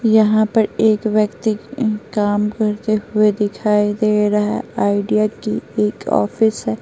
यहां पर एक व्यक्ति काम करते हुए दिखाई दे रहा है आईडिया की एक ऑफिस है।